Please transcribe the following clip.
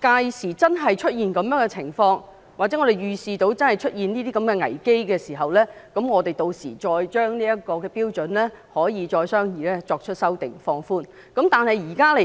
屆時如果真的出現這種情況，又或預視會出現這種危機時，我們可以再商議這標準，並作出修訂和予以放寬。